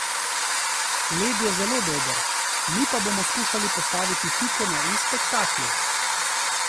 Led je zelo dober, mi pa bomo skušali postaviti piko na i spektaklu.